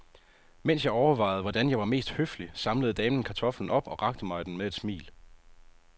Mens jeg overvejede, hvordan jeg var mest høflig, samlede damen kartoflen op og rakte mig den med et smil.